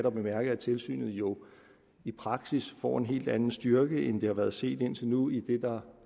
at bemærke at tilsynet jo i praksis får en helt anden styrke end det har været set indtil nu idet der